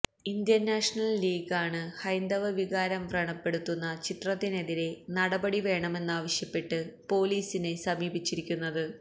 Indian National League ആണ് ഹൈന്ദവ വികാരം വ്രണപ്പെടുത്തുന്ന ചിത്രത്തിനെതിരെ നടപടി വേണമെന്നാവശ്യപ്പെട്ട് പോലീസിനെ സമീപിച്ചിരിക്കുന്നത്